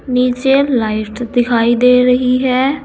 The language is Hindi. नीचे लाइट दिखाई दे रही है।